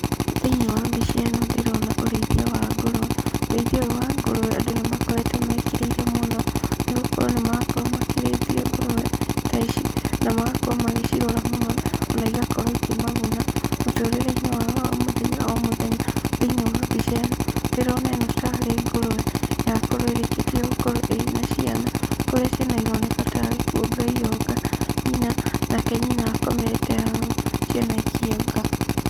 Thĩinĩ wa mbica ĩno ndĩrona ũrĩithia wa ngũrũwe, ũrĩithia ũyũ wa ngũrũwe andũ nĩ makoretwo mekĩrĩire mũno, nĩgũkorwo nĩ marakorwo makĩrĩithia ngũrũwe, ta ici, na magakorwo magĩcirora mũno, na igakorwo ikĩmaguna mũtũrĩreinĩ wao wa o mũthenya o mũthenya. Thĩinĩ wa mbica ĩno, ndĩrona ĩno tarĩ ngũrũwe yakorwo ĩrĩkĩtie gũkorwo ĩrĩ na ciana, kũrĩa ciana ironeka tarĩ kuonga ironga nyina, nake nyina akomete haha ciana ikĩonga.